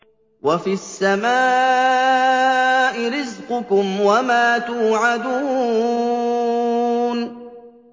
وَفِي السَّمَاءِ رِزْقُكُمْ وَمَا تُوعَدُونَ